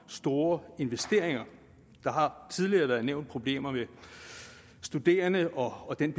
store investeringer der har tidligere været nævnt problemer med studerende og den